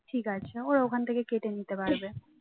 ঠিক আছে ওরা ওখান থেকে কেটে নিতে পারবে